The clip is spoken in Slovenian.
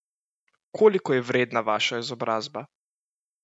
Koliko je vredna vaša izobrazba?